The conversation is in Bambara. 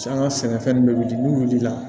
An ka sɛnɛfɛn bɛ wuli n'u wulila